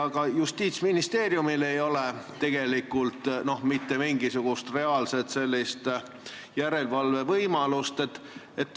Ka Justiitsministeeriumil ei ole tegelikult mitte mingisugust reaalset järelevalvevõimalust.